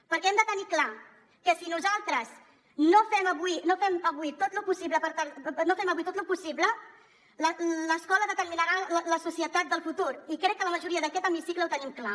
perquè hem de tenir clar que si nosaltres no fem avui tot lo possible l’escola determinarà la societat del futur i crec que la majoria d’aquest hemicicle ho tenim clar